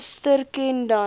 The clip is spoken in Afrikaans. suster ken dan